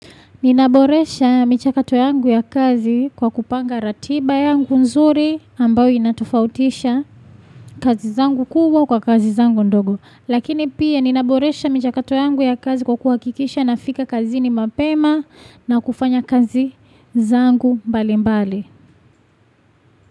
Ninaboresha michakato yangu ya kazi kwa kupanga ratiba yangu nzuri ambayo inatofautisha kazi zangu kubwa kwa kazi zangu ndogo. Lakini pia ninaboresha michakato yangu ya kazi kwa kuhakikisha nafika kazini mapema na kufanya kazi zangu mbali mbali.